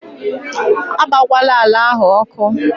A gbakwala àlà áhù ọkụ!